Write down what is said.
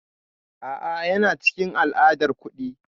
A'a, yana cikin al'adar kuɗi.